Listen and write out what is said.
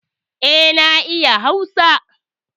E, na iya Hausa.